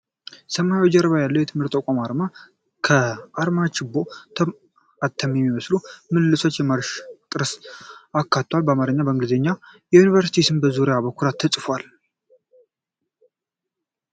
ሰማያዊ ጀርባ ያለው የትምህርት ተቋም አርማ አለ። አርማው ችቦ፣ አተም የሚመስሉ ምልልሶች እና የማርሽ ጥርስን አካቷል። በአማርኛና በእንግሊዝኛ የዩኒቨርሲቲው ስም በዙሪያው በኩራት ተጽፏል።